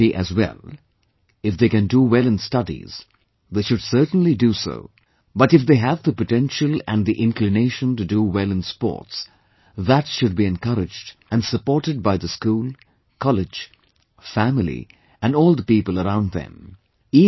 They should study as well, if they can do well in studies, they should certainly do so, but if they have the potential and the inclination to do well in sports, that should be encouraged and supported by the school, college, family and all the people around them